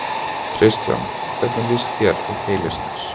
Kristján: Hvernig lýst þér á Keilisnes?